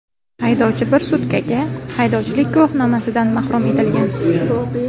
Haydovchi bir sutkaga haydovchilik guvohnomasidan mahrum etilgan.